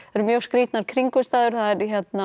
eru mjög skrítnar kringumstæður það er